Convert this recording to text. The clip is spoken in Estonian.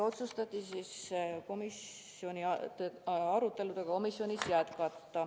Otsustati komisjoni arutelusid jätkata.